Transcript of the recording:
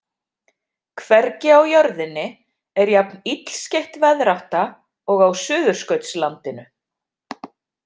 Hvergi á jörðinni er jafn illskeytt veðrátta og á Suðurskautslandinu.